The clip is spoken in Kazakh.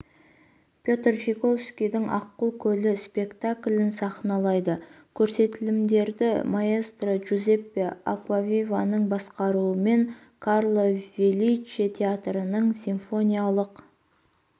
петр чайковскийдің аққу көлі спектаклін сахналайды көрсетілімдерді маэстро джузеппе акуавиваның басқаруымен карло феличе театрының симфониялық